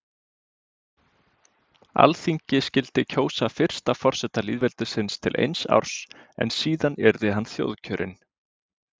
Alþingi skyldi kjósa fyrsta forseta lýðveldisins til eins árs en síðan yrði hann þjóðkjörinn.